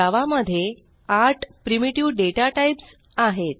जावा मध्ये आठ primitive data types आहेत